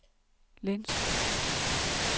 Lintrup